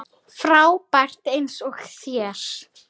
Jú það var of snemmt.